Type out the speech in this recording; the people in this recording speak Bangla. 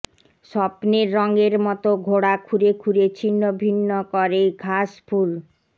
স্বপ্নের রঙের মতো ঘোড়া খুরে খুরে ছিন্ন ভিন্ন করে ঘাস ফুল